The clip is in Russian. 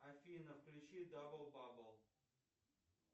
афина включи дабл бабл